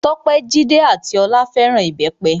Tope, Jídé ati Olá fẹ́ràn Ìbẹ́pẹ.